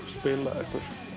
spilað